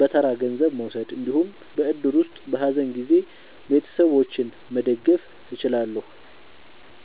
በተራ ገንዘብ መውሰድ እንዲሁም በእድር ውስጥ በሀዘን ጊዜ ቤተሰቦችን መደገፍ እችላለሁ።